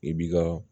I b'i ka